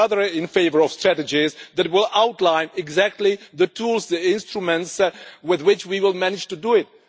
I am rather in favour of reports that will outline exactly the tools, the instruments with which we will manage to do it.